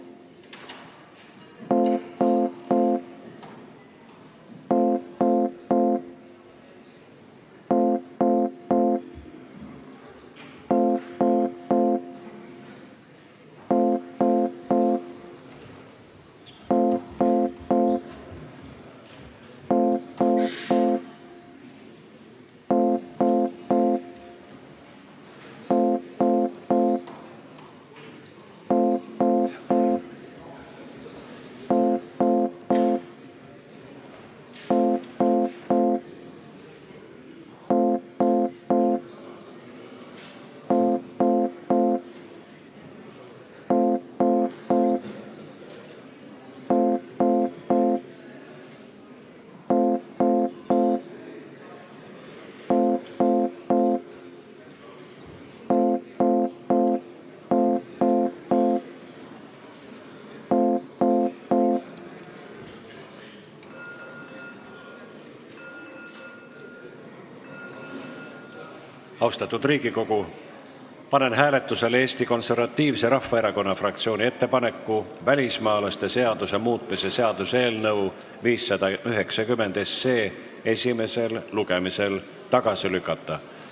Austatud Riigikogu, panen hääletusele Eesti Konservatiivse Rahvaerakonna fraktsiooni ettepaneku välismaalaste seaduse muutmise seaduse eelnõu 590 esimesel lugemisel tagasi lükata.